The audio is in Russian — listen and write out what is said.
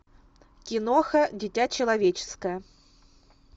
киноха дитя человеческое